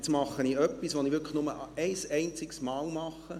Jetzt tue ich etwas, das ich wirklich nur ein einziges Mal tue.